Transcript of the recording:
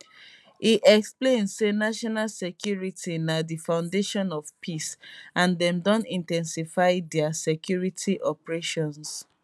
e explain say national security is na di foundation of peace and dem don in ten sify dia security operations